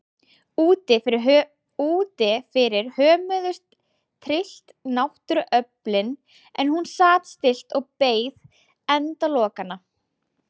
Úti fyrir hömuðust tryllt náttúruöflin en hún sat stillt og beið endalokanna.